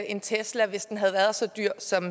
en tesla hvis den havde været så dyr som